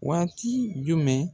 Waati jumɛn ?